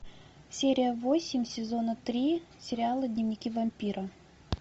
серия восемь сезона три сериал дневники вампира